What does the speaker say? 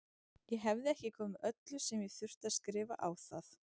Ég hefði ekki komið öllu sem ég þurfti að skrifa á það.